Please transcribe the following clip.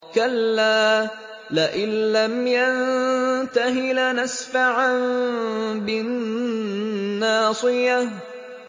كَلَّا لَئِن لَّمْ يَنتَهِ لَنَسْفَعًا بِالنَّاصِيَةِ